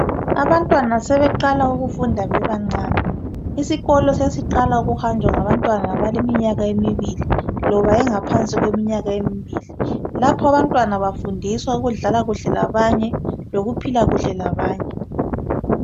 Abantwana sebeqala ukufunda bebancane isikolo sesiqala ujuhanjwa ngabantwana abaleminyaka emibili loba engaphansi kweminyaka emibili lapha abantwana bafundiswa ukudlala kuhle labanye lokuphila kuhle labanye.